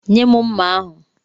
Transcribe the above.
Nye m mma ahụ!